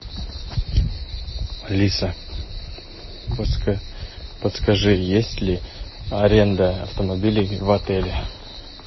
алиса подскажи есть ли аренда автомобилей в отеле